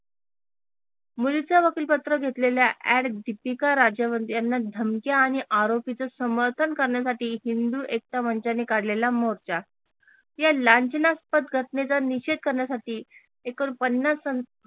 मुलीच वकीलपत्र घेतलेल्या AD दिपीका राजवंत यांना धमक्या आणि आरोपीच समर्थन करण्यासाठी हिंदू एकता मंचाने काढलेला मोर्चा या लांछनास्पद घटनेचा निषेध करण्यासाठी एकूण पन्नास